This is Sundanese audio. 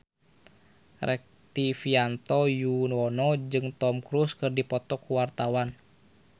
Rektivianto Yoewono jeung Tom Cruise keur dipoto ku wartawan